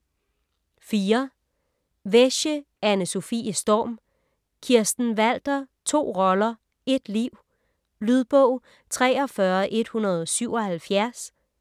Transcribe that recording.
Wesche, Anne-Sofie Storm: Kirsten Walther: to roller - ét liv Lydbog 43177